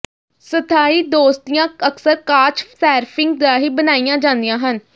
ਸਥਾਈ ਦੋਸਤੀਆਂ ਅਕਸਰ ਕਾਚ ਸੈਰਫਿੰਗ ਰਾਹੀਂ ਬਣਾਈਆਂ ਜਾਂਦੀਆਂ ਹਨ